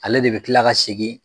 Ale de bɛ kila ka segin.